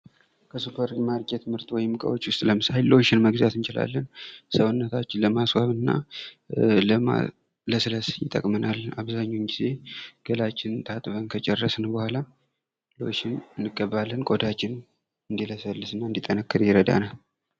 ከሱፐር ማርኬት ምርቶች ዉስጥ ሎሽን መጥቀስ እንችላለን ሰውነታችን ለማስዋብ እና ለማለስለስ ይጠቅመናል አብዛኞቻችን ገላችንን ታጥበን ከጨረስን በኋላ እንቀባለን፡፡